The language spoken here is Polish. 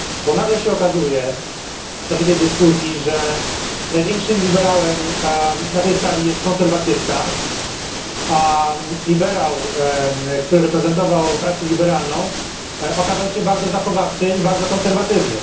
Nagle się okazuje w czasie tej dyskusji, że największym liberałem na tej sali jest konserwatysta, a liberał, który reprezentował frakcję liberalną, okazał się bardzo zachowawczy i bardzo konserwatywny.